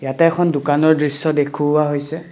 ইয়াতে এখন দোকানৰ দৃশ্য দেখুৱা হৈছে।